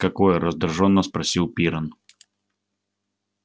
какое раздражённо спросил пиренн